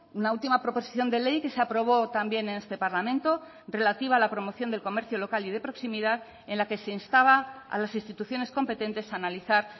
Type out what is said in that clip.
una última proposición de ley que se aprobó también en este parlamento relativa a la promoción del comercio local y de proximidad en la que se instaba a las instituciones competentes a analizar